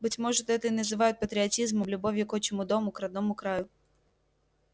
быть может это и называют патриотизмом любовью к отчему дому к родному краю